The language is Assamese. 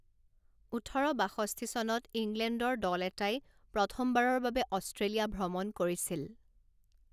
ওঠৰ বাষষ্ঠি চনত ইংলেণ্ডৰ দল এটাই প্ৰথমবাৰৰ বাবে অষ্ট্ৰেলিয়া ভ্ৰমণ কৰিছিল।